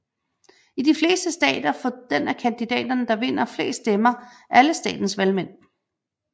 I de fleste stater får den af kandidaterne der vinder flest stemmer alle statens valgmænd